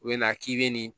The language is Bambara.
U bɛ na k'i bɛ nin